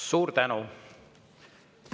Suur tänu!